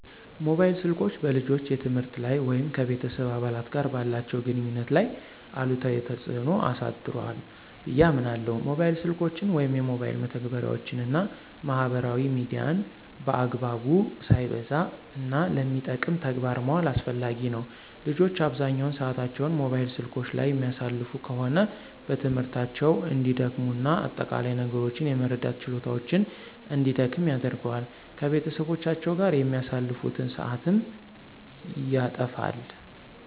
ሞባይል ስልኮች በልጆች የትምህርት ላይ ወይም ከቤተሰብ አባላት ጋር ባላቸው ግንኙነት ላይ አሉታዊ ተጽዕኖ አሳድሯ ብየ አምናለሁ። ሞባይል ስልኮችን ወይም የሞባይል መተግበሪያወችን እና ማህበራዊ ሚዲያን በአግባቡ፣ ሳይበዛ፣ እና ለሚጠቅም ተግባር ማዋል አስፈላጊ ነው። ልጆች አብዛኛውን ሰአታቸውን ሞባይል ስልኮች ላይ የሚያሳልፉ ከሆነ በትምህርታቸው እንዲደክሙ እና አጠቃላይ ነገሮችን የመረዳት ችሎታቸውን እንዲደክም ያደርገዋል። ከቤተሰቦቻቸው ጋር የሚያሳልፉትን ሰአትም ያተፋል።